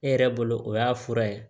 E yɛrɛ bolo o y'a fura ye